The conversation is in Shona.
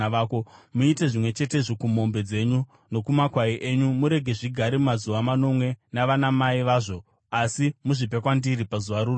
Muite zvimwe chetezvo kumombe dzenyu nokumakwai enyu. Murege zvigare mazuva manomwe navanamai vazvo, asi muzvipe kwandiri pazuva rorusere.